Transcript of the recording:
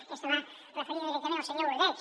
i aquesta va referida directament al senyor ordeig